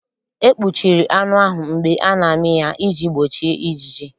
E kpuchiri anụ ahụ mgbe a na-amị ya iji gbochi ijiji.